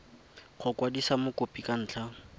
go kwadisa mokopi ka ntlha